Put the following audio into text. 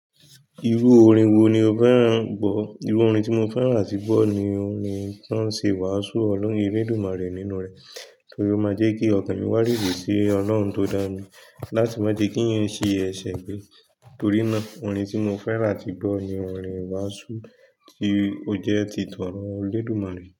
Irú orin wo ni o fẹ́ràn gbọ̀? Irú orin tí mo fẹ́ràn àti gbọ́ ni orin tán ń ṣe wàásù olórin lédùn mọ́ rẹ̀ nínú rẹ̀ torí ó máa jẹ́ kí ọkàn mi wá rìnrìn sí ọlọ́run tó dá ni láti má ti kí nǹkan ṣe èṣe gbé. Torí náà, orin tí mo fẹ́ràn ti gbọ́ ni orin wàásù tí ó jẹ́ tìtọ́rọ́ elédùmarè.